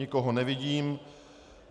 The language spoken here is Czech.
Nikoho nevidím.